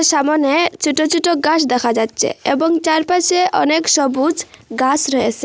সামোনে ছোট ছোট গাছ দেখা যাচ্ছে এবং চারপাশে অনেক সবুজ গাস রয়েসে।